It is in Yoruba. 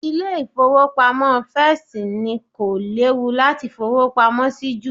Ilé ìfowópamọ́ First ni kò léwu láti fowó pamọ́ sí jù